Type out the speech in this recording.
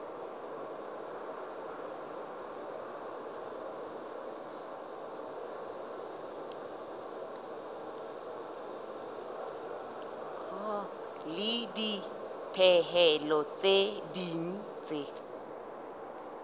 le dipehelo tse ding tse